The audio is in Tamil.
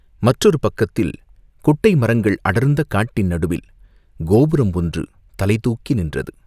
மற்றொரு பக்கத்தில் குட்டை மரங்கள் அடர்ந்த காட்டின் நடுவில் கோபுரம் ஒன்று தலை தூக்கி நின்றது.